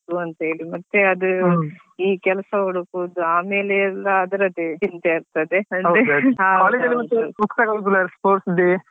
ಅಂತ ಹೇಳಿ ಮತ್ತೆ ಅದು ಈ ಕೆಲಸ ಹುಡುಕುದು ಆಮೇಲೆ ಎಲ್ಲ ಅದ್ರದ್ದೇ ಚಿಂತೆ ಇರ್ತದೆ ಹೌದೌದು.